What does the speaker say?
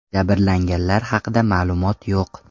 Jabrlanganlar haqida ma’lumot yo‘q.